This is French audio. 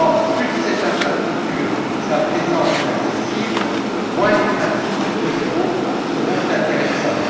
Plus cette infrastructure sera présente et accessible, moins les pratiques de taux zéro seront intéressantes.